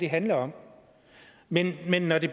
handler om men men når det